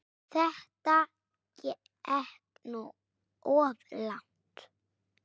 Þetta gekk nú of langt.